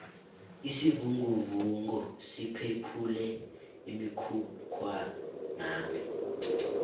isivinguvungu siphephule umkhukhwanami